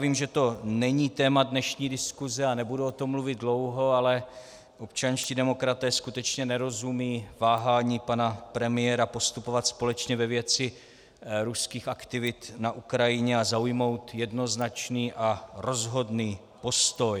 Vím, že to není téma dnešní diskuse, a nebudu o tom mluvit dlouho, ale občanští demokraté skutečně nerozumějí váhání pana premiéra postupovat společně ve věci ruských aktivit na Ukrajině a zaujmout jednoznačný a rozhodný postoj.